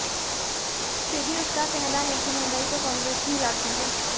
फिर भी उसका कहना है कि महंगाई तो कांग्रेस ही लाती है